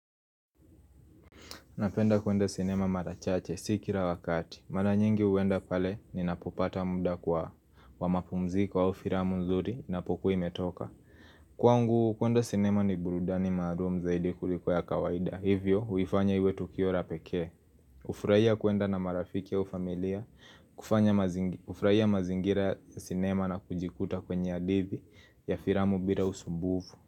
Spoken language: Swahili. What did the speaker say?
Napenda kuenda sinema marachache sikira wakati. Mana nyingi uenda pale ni napopata muda kwa wa mapumziko au firamu nzuri na pokua imetoka. Kwa ngu, kuenda sinema ni burudani maalum zaidi kuliko ya kawaida. Hivyo, huifanya iwe tukiora peke. Ufraia kuenda na marafiki au ufamilia, ufraia mazingira sinema na kujikuta kwenye adithi ya firamu bila usumbuvu.